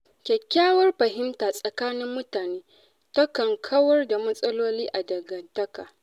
Kyakkyawar fahimta tsakanin mutane takan kawar da matsaloli a dangantaka.